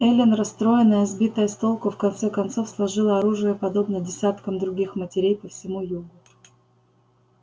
эллин расстроенная сбитая с толку в конце концов сложила оружие подобно десяткам других матерей по всему югу